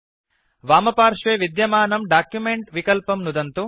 वामपार्श्वे विद्यमानं डॉक्युमेंट विकल्पं नुदन्तु